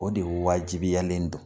O de wajibiyalen don.